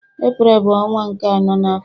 Eprel bu onwa nke ano na afo.